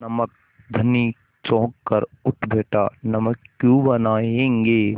नमक धनी चौंक कर उठ बैठा नमक क्यों बनायेंगे